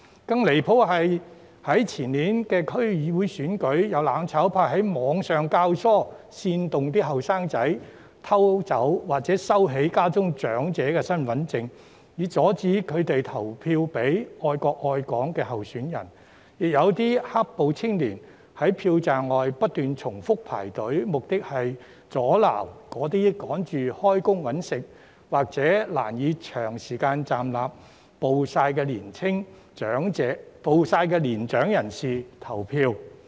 更加離譜的是，在前年的區議會選舉中，有"攬炒派"於網上教唆、煽動年青人偷走或收起家中長者的身份證，以阻止他們投票給愛國愛港的候選人，亦有"黑暴"青年在票站外不斷重複排隊，目的是阻撓急於上班謀生的選民或難以長時間站立和曝曬的年長人士入內投票。